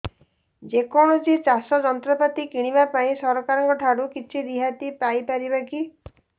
ଯେ କୌଣସି ଚାଷ ଯନ୍ତ୍ରପାତି କିଣିବା ପାଇଁ ସରକାରଙ୍କ ଠାରୁ କିଛି ରିହାତି ପାଇ ପାରିବା କି